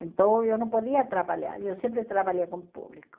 Então, eu não podia trabalhar, eu sempre trabalhei com público.